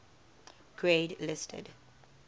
grade listed